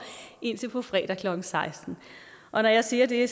indtil på fredag klokken sekstende og når jeg siger det